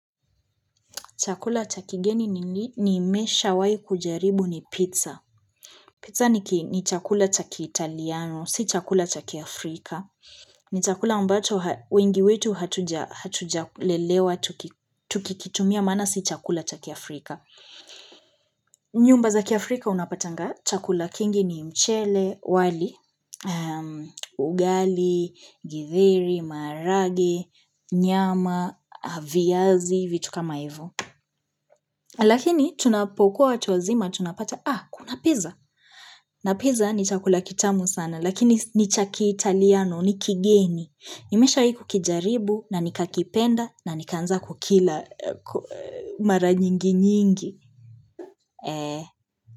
Chakula cha kigeni nimeshawahi kujaribu ni pizza. Pizza ni chakula cha kitaliano, si chakula cha kiafrika. Ni chakula ambacho wengi wetu hatuja lelewa tukikitumia maana si chakula chakiafrika. Nyumba za kiafrika unapatanga chakula kingi ni mchele, wali, ugali, githeri, maharage, nyama, viazi, vitu kama hivo. Lakini tunapokuwa watu wazima, tunapata, ah, kuna pizza. Na pizza ni chakula kitamu sana, lakini ni chakitaliano, ni kigeni. Nimesha ku kijaribu, na nikakipenda, na nikanza kukila mara nyingi nyingi.